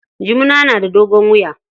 Jumuna na da dogon wuya.